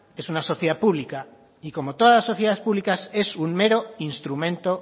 es una sociedad pública y como todas las sociedades públicas es un mero instrumento